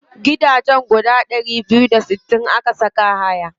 Gidajen guda ɗari biyu da sittin aka saka haya.